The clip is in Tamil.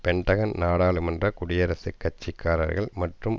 பென்டகன் நாடாளுமன்ற குடியரசுக் கட்சி காரர்கள் மற்றும்